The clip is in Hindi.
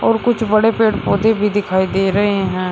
और कुछ बड़े पेड़ पौधे भी दिखाई दे रहे हैं।